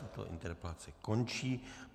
Tato interpelace končí.